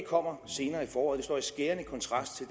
kommer senere i foråret det står i skærende kontrast